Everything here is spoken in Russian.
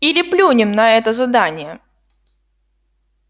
или плюнем на это задание